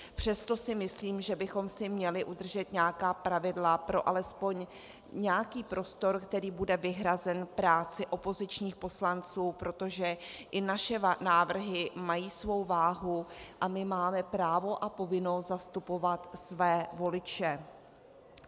Přesto si myslím, že bychom si měli udržet nějaká pravidla pro alespoň nějaký prostor, který bude vyhrazen práci opozičních poslanců, protože i naše návrhy mají svou váhu a my máme právo a povinnost zastupovat své voliče.